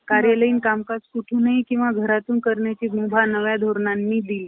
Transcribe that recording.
शेकडो गावी गेले. भाषण~ भाषणे केली. निधी गोळा केला. आणि त्यांनी संस्था~ संस्था नावारूपाला आणली. एक~ अठराशे,